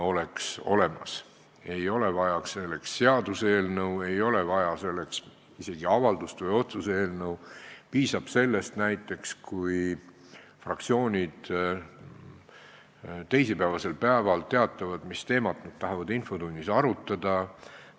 Selleks ei ole vaja seaduseelnõu, selleks ei ole vaja isegi avaldust või otsuse eelnõu, piisab näiteks sellest, kui fraktsioonid teisipäeval teatavad, mis teemat nad tahavad infotunnis arutada.